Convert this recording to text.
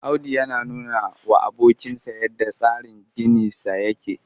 Audu yana nunawa abokinsa yadda tsarin ginisa yake